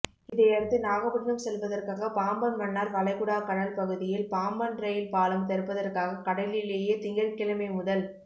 இதையடுத்து நாகப்பட்டினம் செல்வதற்காக பாம்பன் மன்னார் வளைகுடா கடல் பகுதியில் பாம்பன் ரயில் பாலம் திறப்பதற்காக கடலிலேயே திங்கள்கிழமை முதல்